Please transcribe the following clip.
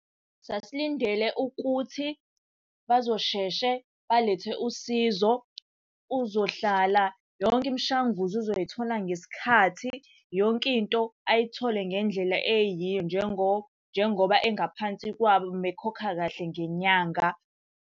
Sasilindele ukuthi bazosheshe balethe usizo. Uzohlala yonke imishanguzo uzoyithola ngesikhathi, yonke into ayithole ngendlela eyiyo njengoba engaphansi kwabo uma ekhokha kahle ngenyanga.